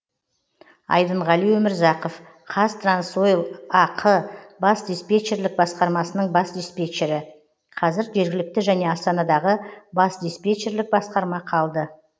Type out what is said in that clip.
айдынғали өмірзақов қазтрансойл ақ бас диспетчерлік басқармасының бас диспетчері қазір жергілікті және астанадағы бас диспетчерлік басқарма қалды